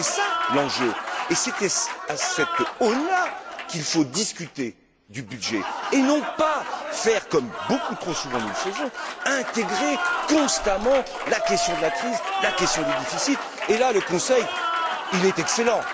C'est ça l'enjeu et c'est à cette aune là qu'il faut discuter du budget et non pas faire comme beaucoup trop souvent nous le faisons, intégrer constamment la question de la crise, la question des déficits, et là le Conseil excelle.